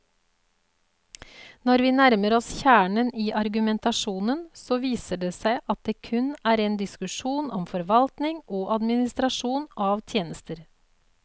Når vi nærmer oss kjernen i argumentasjonen, så viser det seg at det kun er en diskusjon om forvaltning og administrasjon av tjenester.